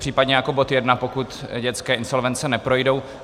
Případně jako bod jedna, pokud dětské insolvence neprojdou.